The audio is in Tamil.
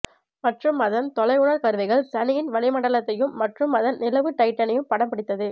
மற்றும் அதன் தொலையுணர் கருவிகள் சனியின் வளிமண்டலத்தையும் மற்றும் அதன் நிலவு டைட்டனையும் படம் பிடித்தது